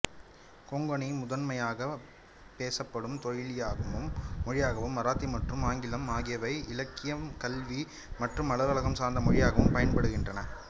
கொங்கனி முதன்மையாகப் பேசப்படும் மொழியாகவும் மராத்தி மற்றும் ஆங்கிலம் ஆகியவை இலக்கியம்கல்வி மற்றும் அலுவலகம் சார்ந்த மொழியாகவும் பயன்படுத்தப்படுகின்றன